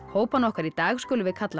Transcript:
hópana okkar í dag skulum við kalla